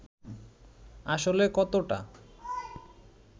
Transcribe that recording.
আসলে কতটা